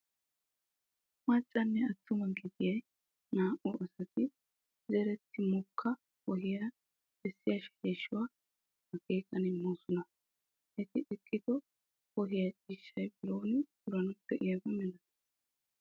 Maccanne attuma gididi naa"u asati zeretti mokka wohiyawu bessiya sheleeshshuwa akeekan immoosona. Eti eqqido wohee ciishshaa biron puranawu de'iyaabaa milatees.